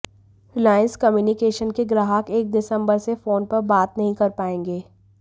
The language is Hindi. रिलायंस कम्युनिकेशंस के ग्राहक एक दिसंबर से फोन पर बात नहीं कर पाएंगे